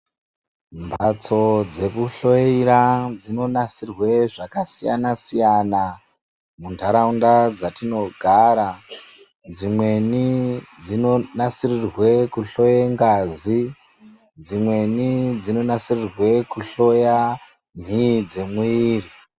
Mbatso dzekuhloyera dzinonasirwa zvakasiyana siyana muntharaunda dzatinogara dzimweni dzinonasirirwa kuhloye ngazi dzimweni dzinonasirirwa kuhloya nhii dzemuviri.